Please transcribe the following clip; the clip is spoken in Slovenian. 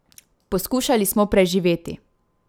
Poskušali smo preživeti.